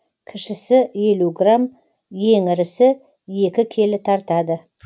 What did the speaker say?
кішісі елу грамм ең ірісі екі келі тартады